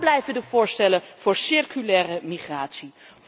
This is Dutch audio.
Waar blijven de voorstellen voor circulaire migratie?